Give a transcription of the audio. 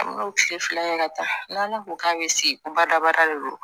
An b'o tile fila kɛ ka taa n'ale ko k'a bɛ se badabada de don